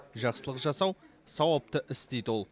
жақсылық жасау сауапты іс дейді ол